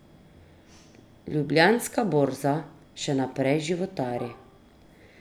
Ljubljanska borza še naprej životari.